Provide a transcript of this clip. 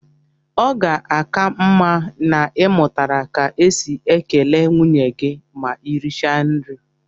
Ọ ga-aka mma na ị mụtara ka e si ekele nwunye gị ma ị richaa nri